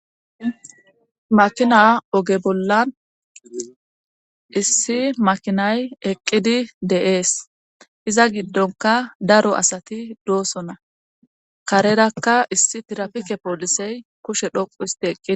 Makina oge bolla issi makinay eqqidi de7ees iza giddonkka daro asati doosona kararakka issi tirafike poolisey kushe dhoqqu histti eqqidi.